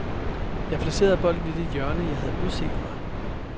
Jeg placerede bolden i det hjørne, jeg havde udset mig.